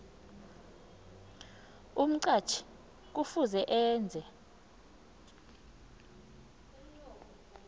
umqatjhi kufuze enze